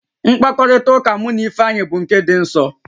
Mkpakọrịta mụ na Ifeanyị bụ nke dị nsọ